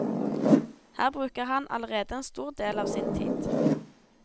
Her bruker han allerede en stor del av sin tid.